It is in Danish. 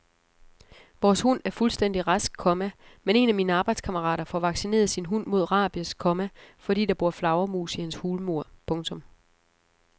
Vores hund er fuldstændig rask, komma men en af mine arbejdskammerater får vaccineret sin hund mod rabies, komma fordi der bor flagermus i hans hulmur. punktum